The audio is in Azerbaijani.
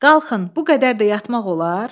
Qalxın, bu qədər də yatmaq olar?